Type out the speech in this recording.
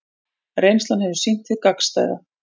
Reynslan hefur sýnt hið gagnstæða